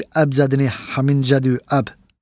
bil əbcədini həmincədü əb.